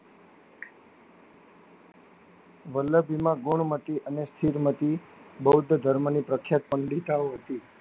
વલ્લભીમાં ગુણમતી અને ચીડમતી બૌદ્ધ ધર્મ ની પ્રખ્યાત પંડિતાઑ હતી.